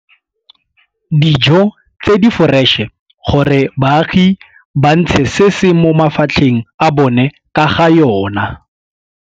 dijo tse di foreše gore baagi ba ntshe se se mo mafatlheng a bona ka ga yona.